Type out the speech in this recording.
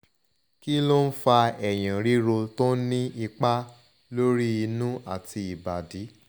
kí ló ń fa eyin riro to n ni ipa lori inu ati ibadi